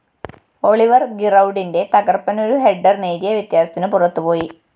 Olivier‍ ഗിറൗഡിന്റെ തകര്‍പ്പനൊരു header നേരിയ വ്യത്യാസത്തിന് പുറത്തുപോയി